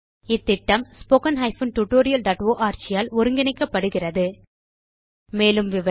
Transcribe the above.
இந்த திட்டம் httpspoken tutorialorg ஆல் ஒருங்கிணைக்கப்படுகிறது மேலும் விவரங்களுக்கு